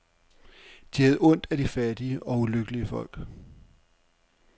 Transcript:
De havde ondt af de fattige og ulykkelige folk.